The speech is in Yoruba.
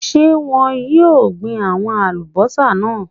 Ń jẹ́ wọn yìí ó gbin àwọn Alubọ́sá náà